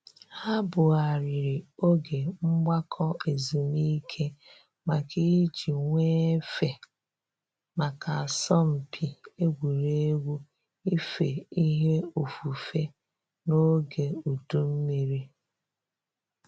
Ha bugharịrị oge mgbakọ ezumike maka iji nwee efe maka asọmpi egwuregwu ife ihe ofufe n’oge udu mmiri